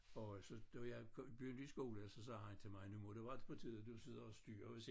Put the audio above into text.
Og så da jeg begyndte i skole så sagde han til mig nu må det være på tide du sidder og styrer